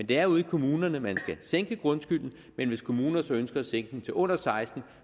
det er ude i kommunerne man skal sænke grundskylden men hvis kommuner så ønsker at sænke den til under seksten